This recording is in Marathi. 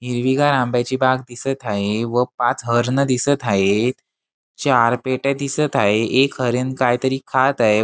हिरवीगार आंब्याची बाग दिसत हाये व पाच हरणं दिसत हायेत चार पेट्या दिसत हाये एक हरीण काहीतरी खात आहे.